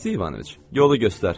Aleksey İvanoviç, yolu göstər.